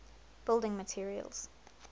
building materials